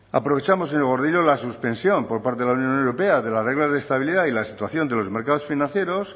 aprovechamos señor gordillo la suspensión por parte de la unión europea de las reglas de estabilidad y la situación de los mercados financieros